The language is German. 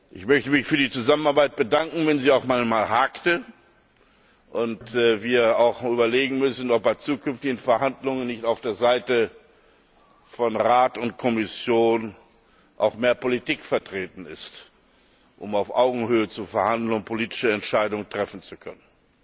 Ich möchte mich für die Zusammenarbeit bedanken, wenn sie auch manchmal hakte und wir auch überlegen müssen, ob bei zukünftigen Verhandlungen nicht auf der Seite von Rat und Kommission auch mehr Politik vertreten ist, um auf Augenhöhe zu verhandeln und politische Entscheidungen treffen zu können.